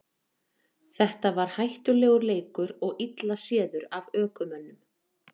þetta var hættulegur leikur og illa séður af ökumönnum